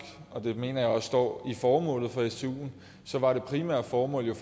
og det mener jeg også står i formålet for stuen var det primære formål